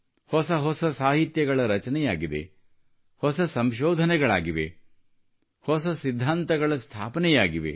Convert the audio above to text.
ಹೊಸ ಹೊಸ ಸಾಹಿತ್ಯಗಳ ರಚನೆಯಾಗಿದೆ ಹೊಸ ಸಂಶೋಧನೆಗಳಾಗಿವೆ ಹೊಸ ಸಿದ್ಧಾಂತಗಳ ಸ್ಥಾಪನೆಯಾಗಿವೆ